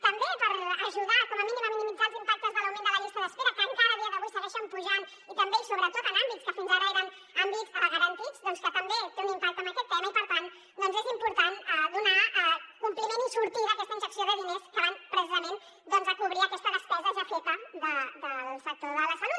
també per ajudar com a mínim a minimitzar els impactes de l’augment de les llistes d’espera que encara a dia d’avui segueixen pujant i també i sobretot en àmbits que fins ara eren àmbits garantits doncs que també tenen un impacte en aquest tema i per tant és important donar compliment i sortida a aquesta injecció de diners que van precisament a cobrir aquesta despesa ja feta del sector de la salut